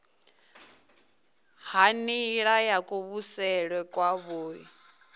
ha nila ya kuvhusele kwavhui